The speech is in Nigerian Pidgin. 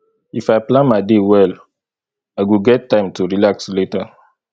if i plan my day well i go get time to relax later